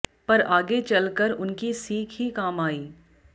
पर आगे चल कर उनकी सीख ही काम आयी